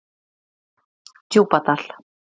Djúpadal